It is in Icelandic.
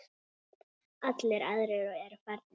Allir aðrir eru farnir.